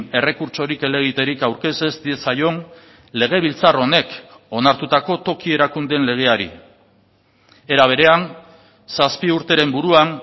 errekurtsorik helegiterik aurkez ez diezaion legebiltzar honek onartutako toki erakundeen legeari era berean zazpi urteren buruan